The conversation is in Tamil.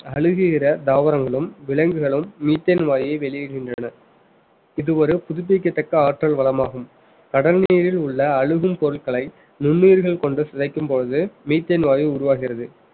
அழுகுகிற தாவரங்களும் விலங்குகளும் methane வாயுவை வெளியிடுகின்றன இது ஒரு புதுப்பிக்கத்தக்க ஆற்றல் வளமாகும் கடல் நீரில் உள்ள அழுகும் பொருட்கள நுண்ணுயிர்கள் கொண்டு சிதைக்கும் பொழுது methane வாயு உருவாகிறது